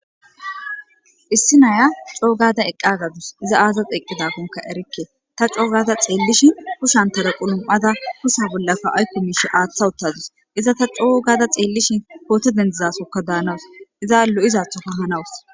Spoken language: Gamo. issi naya coo gada eqqagadus iza aazas eqqidakonka erikke ta coo gada xeellishin kushshantara qulum7ada husa bollaka aykku miishe aaththa uttazus iza ta coo ugada xeellishin koote dendizasokka daanawus iza lo7izathoka hanawus